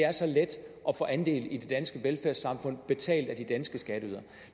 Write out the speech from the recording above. er så let at få andel i det danske velfærdssamfund betalt af de danske skatteydere